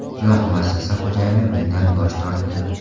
Biroq muassasa xo‘jayini bundan bosh tortdi.